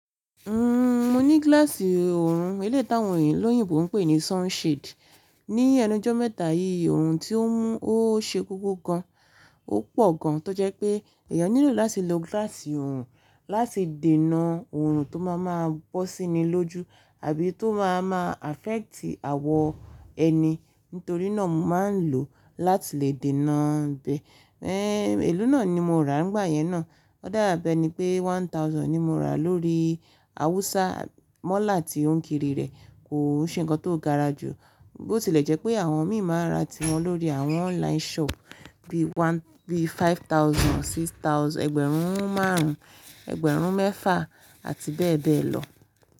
Mo ní glass òòrùn, eléyìí táwọn olóyinbo ń pè ní sunshade. Ni ẹnu ọjọ́ mẹ́ta yìí, òòrùn tí ó ń mú ó ṣe koko gan, ó pọ̀ gan tó jẹ́ pé èèyàn nílò láti lo gilassi oòrùn láti dènà oòrùn tó máa máa bọ́ síní lójú àbí tó máa máa affect àwọ ẹni. Nítorí náà mo máa ń lò ó láti lè dènà bẹ̀. Elo náà ni mo rà nígbà yẹn náà. Ó dàbí ẹni pé one thousand ni mo rà lórí Awusa mọ́là tí ó ń kiri rẹ̀. Kò ṣe ńǹkan tó gara ju, bó ti lè jẹ́ pé àwọn mì maa n rà ti wọn lórí àwọn online shop bí one, bí five thousand or six thousand, ẹgbẹ̀rún márùn-ún, ẹgbẹ̀rún mẹ́fà àti bẹ́ẹ̀ bẹ́ẹ̀ lọ.